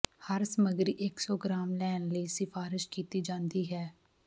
ਹਰ ਸਮੱਗਰੀ ਇੱਕ ਸੌ ਗ੍ਰਾਮ ਲੈਣ ਲਈ ਸਿਫਾਰਸ਼ ਕੀਤੀ ਜਾਦੀ ਹੈ